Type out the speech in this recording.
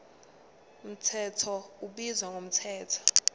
mthetho ubizwa ngomthetho